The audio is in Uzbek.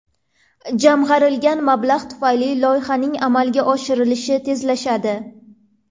Jamg‘arilgan mablag‘ tufayli loyihaning amalga oshirilishi tezlashadi.